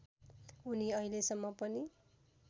उनी अहिलेसम्म पनि